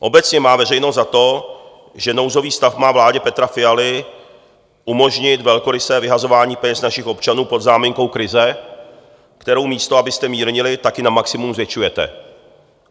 Obecně má veřejnost za to, že nouzový stav má vládě Petra Fialy umožnit velkorysé vyhazování peněz našich občanů pod záminkou krize, kterou místo abyste mírnili, tak ji na maximum zvětšujete.